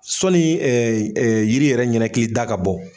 Sɔ yiri yɛrɛ ɲinakili da ka bɔ